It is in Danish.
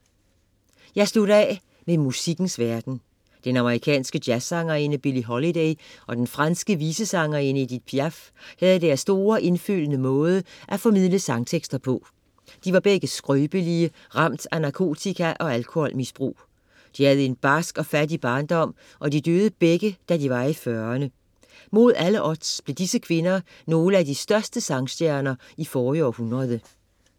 Jeg slutter af med musikkens verden. Den amerikanske Jazzsangerinde Billie Holiday og den franske visesangerinde Edith Piaf havde deres store indfølende måde at formidle sangtekster på. De var begge skrøbelige og ramt af narkotika-og alkoholmisbrug. De havde en barsk og fattig barndom, og de døde begge, da de var i 40´erne. Mod alle odds blev disse kvinder nogle af de største sangstjerner i forrige århundrede.